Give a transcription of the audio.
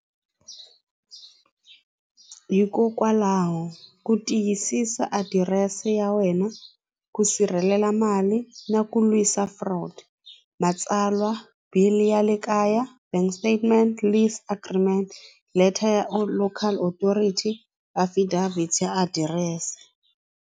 Hikokwalaho ku tiyisisa adirese ya wena ku sirhelela mali na ku lwisa fraud matsalwa bill ya le kaya bank statement list agreement leter ya or local authority affidavit adirese.